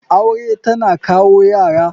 Aure tana kawo Yara.